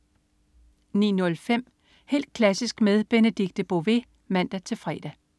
09.05 Helt klassisk med Benedikte Bové (man-fre)